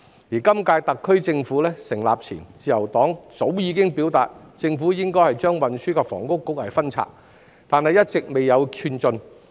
在今屆特區政府成立前，自由黨早已向政府表達把運房局分拆的意見，但一直未見寸進。